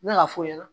N bɛ ka f'u ɲɛna